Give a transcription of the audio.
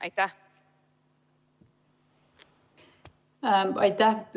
Aitäh!